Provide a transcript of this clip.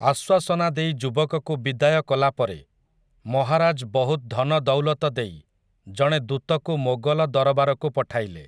ଆଶ୍ୱାସନା ଦେଇ ଯୁବକକୁ ବିଦାୟ କଲାପରେ, ମହାରାଜ୍ ବହୁତ୍ ଧନଦୌଲତ ଦେଇ, ଜଣେ ଦୂତକୁ ମୋଗଲ ଦରବାରକୁ ପଠାଇଲେ ।